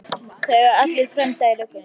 Það eiga allir frænda í löggunni.